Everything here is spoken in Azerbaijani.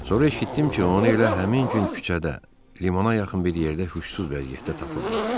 Sonra eşitdim ki, onu elə həmin gün küçədə, limana yaxın bir yerdə huşsuz vəziyyətdə tapıblar.